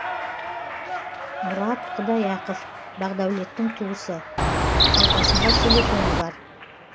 мұрат құдаяқов бақдәулеттің туысы қалтасында телефоны бар